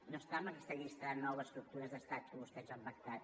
no estan en aquesta llista de nou estructures d’estat que vostès han pactat